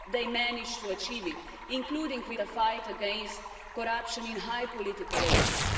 But they managed to achieve it, including with a fight against corruption in high political elites.